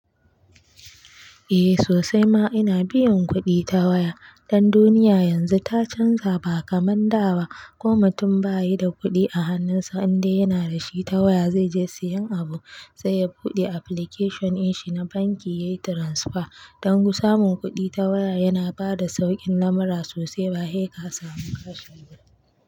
Eh sosai ma ina biyan kuɗi ta waya. Dan duniya yanzu ta canja ba kamar da ba. Ko mutum bayi da kuɗi a hannunsa, in dai yana da shi ta waya zai je sayen abu. Sai ya buɗe application ɗinshi na banki, yayi transfer. Dan ku samu kuɗi ta waya yana bada sauƙin lamara sosai ba heka samu cash ba.